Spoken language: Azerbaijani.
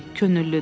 Könüllüdür.